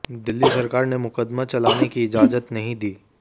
दिल्ली सरकार ने मुकदमा चलाने की इजाजत नहीं दी